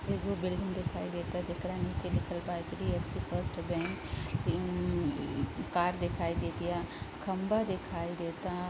एगो बिल्डिंग देखाई देता जेकरा नीचे लिखल बा एच.डी.एफ.सी. फर्स्ट बैंक हम्म कार देखाई देतिया खम्बा देखाई देता।